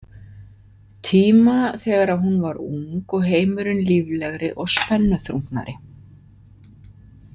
Tíma þegar hún var ung og heimurinn líflegri og spennuþrungnari.